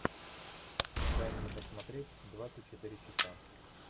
дай мне посмотреть двадцать четыре часа